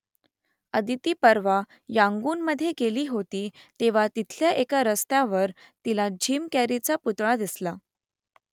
अदिती परवा यांगूनमधे गेली होती तेव्हा तिथल्या एका रस्त्यावर तिला जिम कॅरीचा पुतळा दिसला